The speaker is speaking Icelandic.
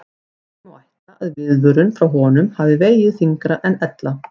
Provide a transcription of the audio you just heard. Því má ætla að viðvörun frá honum hafi vegið þyngra en ella.